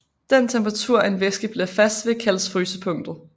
Den temperatur en væske bliver fast ved kaldes frysepunktet